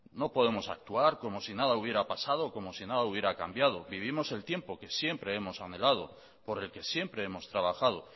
no podemos actuar como si nada hubiera pasado o como si nada hubiera cambiado vivimos el tiempo que siempre hemos anhelado por el que siempre hemos trabajado